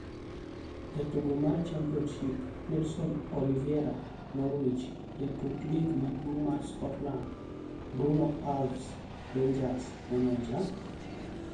Jotugo mar Championship: Nelson Oliveira (Norwich) Jatuk Lig maduong' mar Scotland: Bruno Alves (Rangers) Maneja?